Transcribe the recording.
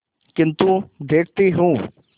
किन्तु देखती हूँ